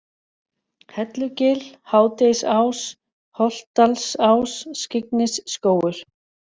Hellugil, Hádegisás, Holtsdalsá, Skyggnisskógur